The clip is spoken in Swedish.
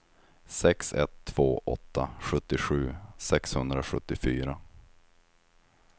sex ett två åtta sjuttiosju sexhundrasjuttiofyra